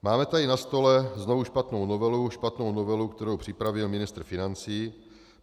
Máme tady na stole znovu špatnou novelu, špatnou novelu, kterou připravil ministr financí.